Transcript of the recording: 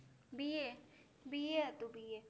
BABA હતું BA